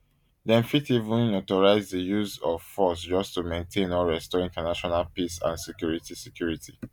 dem fit even authorise di use of force just to maintain or restore international peace and security security